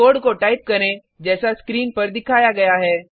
code को type करें जैसा स्क्रीन पर दिखाया गया है